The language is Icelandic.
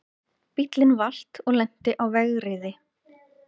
Bíllinn valt og lenti á vegriði